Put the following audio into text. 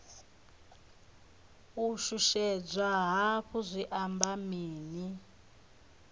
u shushedzwa hafhu zwi amba mini